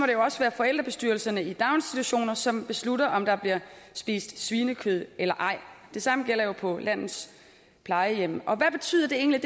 det jo også være forældrebestyrelserne i daginstitutioner som beslutter om der bliver spist svinekød eller ej det samme gælder jo på landets plejehjem og hvad betyder det egentlig